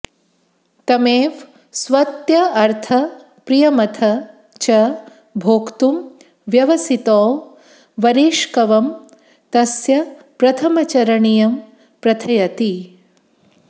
तमेव स्वात्यर्थप्रियमथ च भोक्तुं व्यवसितौ वरेष्कवं तस्य प्रथमवरणीयं प्रथयति